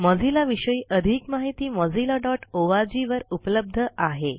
Mozilla विषयी अधिक माहिती mozillaओआरजी वर उपलब्ध आहे